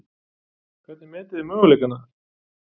Hvernig metið þið möguleikana þar?